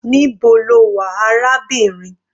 Níbo lo wà arábìnrin?